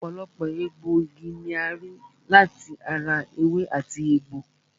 Ọ̀pọ̀lọpọ̀ egbòogi ni a rí láti ara ewé àti egbò